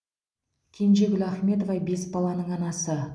кенжегүл ахметова бес баланың анасы